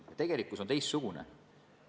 Tegelikkus on teistsugune.